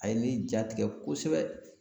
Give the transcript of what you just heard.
A ye ne jatigɛ kosɛbɛ